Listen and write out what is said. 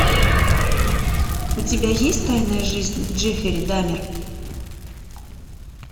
у тебя есть тайная жизнь джеффри дамер